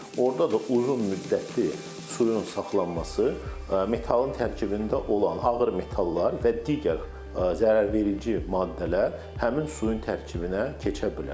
Orda da uzun müddətli suyun saxlanması metalın tərkibində olan ağır metallar və digər zərərverici maddələr həmin suyun tərkibinə keçə bilər.